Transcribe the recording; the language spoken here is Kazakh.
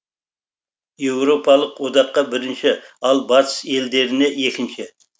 еуропалық одаққа бірінші ал батыс елдеріне екінші